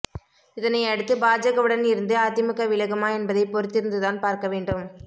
இதனை அடுத்து பாஜகவுடன் இருந்து அதிமுக விலகுமா என்பதை பொறுத்திருந்துதான் பார்க்க வேண்டும்